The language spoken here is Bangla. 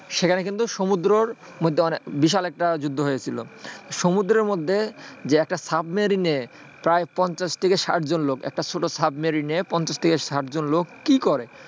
সেখানে কিন্তু সমুদ্র তে একটা বিশাল যুদ্ধ হয়েছিল সমুদ্রের মধ্যে যে একটা সাবমেরিনে প্রায় পঞ্চাশ থেকে ষাট জন লোক একটা ছোট সাবমেরিনের পঞ্চাশ থেকে ষাট জন লোক কি করে?